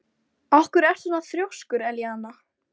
Af hverju ertu svona þrjóskur, Elíana?